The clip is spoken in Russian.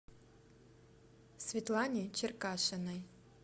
светлане черкашиной